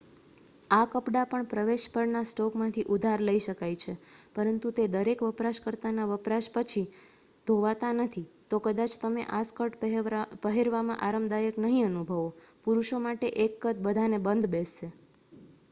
આ કપડાં પણ પ્રવેશ પરના સ્ટોકમાંથી ઉધાર લઈ શકાય છે પરંતુ તે દરેક વપરાશકર્તાના વપરાશ પછી ધોવાતા નથી તો કદાચ તમે આ સ્કર્ટ પહેરવામાં આરામદાયક નહી અનુભવો પુરુષો માટે એક કદ બધાને બંધ બેસશે